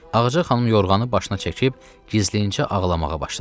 Ağca xanım yorğanı başına çəkib gizlincə ağlamağa başladı.